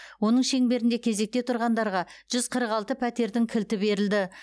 оның шеңберінде кезекте тұрғандарға жүз қырық алты пәтердің кілті берілді